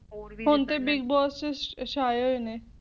ਹੁਣ ਤਾਂ Big Boss ਵਿੱਚ ਸ਼ਾਇਰ ਨੇ